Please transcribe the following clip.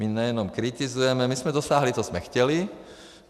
My nejenom kritizujeme, my jsme dosáhli, co jsme chtěli.